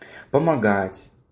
помогать